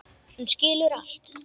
Hún skilur allt.